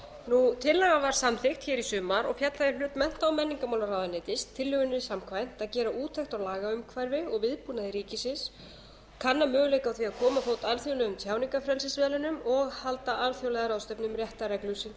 tryggð tillagan var samþykkt í sumar og féll þá í hlut mennta og menningarmálaráðuneytis tillögunni samkvæmt að gera úttekt á lagaumhverfi og viðbúnaði ríkisins kanna möguleika á því að koma á fót alþjóðlegum tjáningarfrelsismiðlunum og halda alþjóðlega ráðstefnu um réttarreglur sem